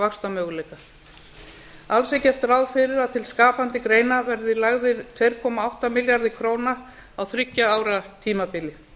vaxtarmöguleika alls er gert ráð fyrir að til skapandi greina verði lagðar tvö komma átta milljarðar króna á þriggja ára tímabili